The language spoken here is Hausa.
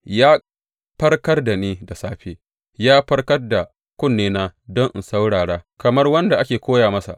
Ya farkar da ni da safe, ya farkar da kunnena don in saurara kamar wanda ake koya masa.